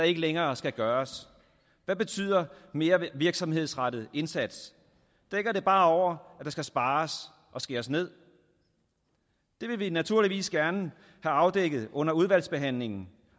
ikke længere skal gøres hvad betyder mere virksomhedsrettet indsats dækker det bare over at der skal spares og skæres ned det vil vi naturligvis gerne have afdækket under udvalgsbehandlingen